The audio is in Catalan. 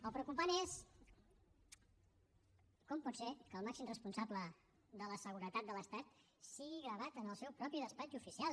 el preocupant és com pot ser que el màxim responsable de la seguretat de l’estat sigui gravat en el seu propi despatx oficial